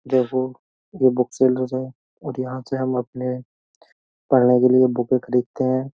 देखो ये book seller है और यहां से हम अपने पढ़ने के लिए बुक खरीदते हैं।